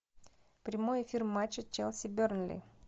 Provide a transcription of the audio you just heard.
прямой эфир матча челси бернли